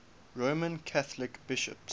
roman catholic bishops